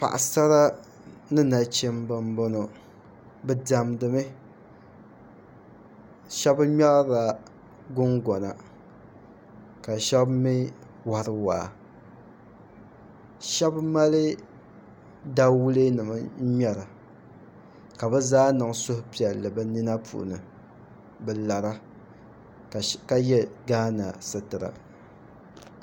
Paɣasara ni nachimbi n boŋo bi diɛmdi mi shab ŋmɛrila gungona ka shab mii wori waa shab mali dawulɛ nim n ŋmɛra ka bi zaa niŋ suhupiɛlli bi nina polo bi lara ka yɛ gaana sitira